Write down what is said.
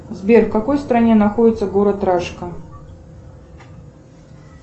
сбер в какой стране находится город рашка